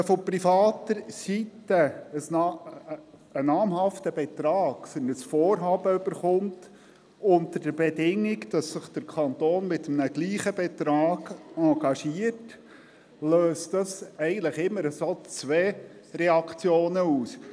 Erhält man von privater Seite einen namhaften Betrag für ein Vorhaben unter der Bedingung, dass sich der Kanton mit einem gleich hohen Betrag engagiert, löst dies eigentlich immer zwei Reaktionen aus.